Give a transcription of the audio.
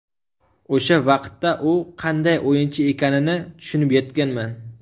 O‘sha vaqtda u qanday o‘yinchi ekanini tushunib yetganman.